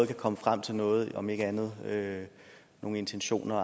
vi komme frem til noget om ikke andet nogle intentioner